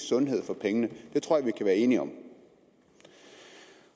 sundhed for pengene det tror jeg vi kan være enige om